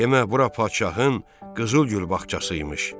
Demə bura padşahın qızıl gül bağçası imiş.